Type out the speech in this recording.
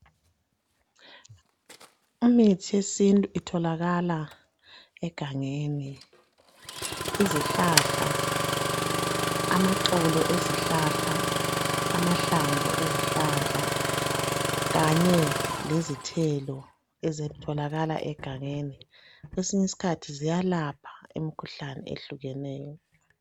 Imithi yesintu itholakala egangeni. Izihlahla, amaxolo ezihlahla, amahlamvu ezihlahla kanye lezithelo ezitholakala egangeni kwesinyisikhathi ziyalapha imikhuhlane ehlukeneyo.